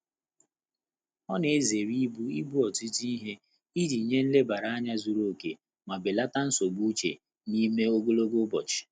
Ọ́ nà-èzéré íbù íbé ọ́tụ́tụ́ íhé ìjí nyé nlèbàrà ányá zùrù óké mà bèlàtà nsógbú úchè n’ímé ògòlògò ụ́bọ̀chị̀.